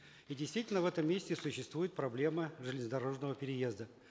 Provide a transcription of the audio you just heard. и действительно в этом месте существует проблема железнодорожного переезда